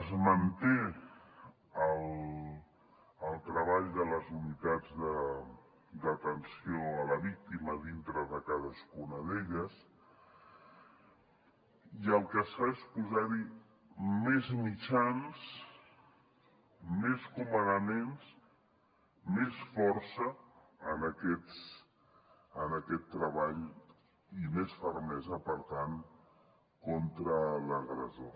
es manté el treball de les unitats d’atenció a la víctima dintre de cadascuna d’elles i el que es fa és posar hi més mitjans més comandaments més força en aquest treball i més fermesa per tant contra l’agressor